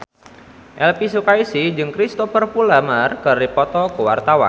Elvy Sukaesih jeung Cristhoper Plumer keur dipoto ku wartawan